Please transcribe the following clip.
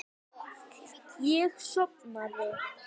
og ég brosti.